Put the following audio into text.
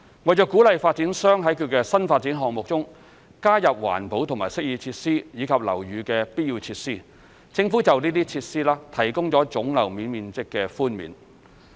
為鼓勵發展商在其新發展項目中加入環保及適意設施，以及樓宇的必要設施，政府就該些設施提供總樓面面積寬免。